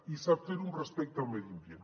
i sap fer ho amb respecte al medi ambient